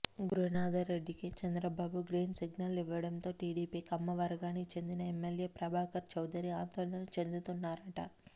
గురునాథరెడ్డికి Chandrababu green signal ఇవ్వడంతో టిడిపి కమ్మ వర్గానికి చెందిన ఎమ్మెల్యే ప్రభాకర్ చౌదరి అందోళన చెందుతున్నారట